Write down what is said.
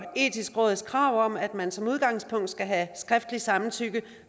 etiske råds krav om at man som udgangspunkt skal have skriftligt samtykke